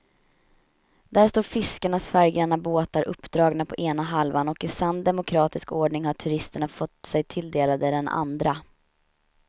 Där står fiskarnas färggranna båtar uppdragna på ena halvan och i sann demokratisk ordning har turisterna fått sig tilldelade den andra.